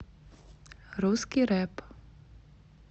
русский рэп